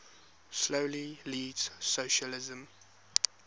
slowly leads socialism